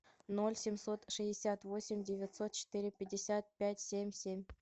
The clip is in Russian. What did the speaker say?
ноль семьсот шестьдесят восемь девятьсот четыре пятьдесят пять семь семь